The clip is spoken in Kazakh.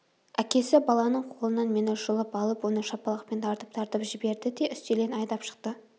әкесі баланың қолынан мені жұлып алып оны шапалақпен тартып-тартып жіберді де үстелден айдап шықты